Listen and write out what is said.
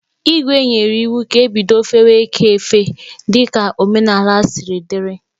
Igwè nyere iwu ka ebido fewe ekè efe dika omenala siri dị.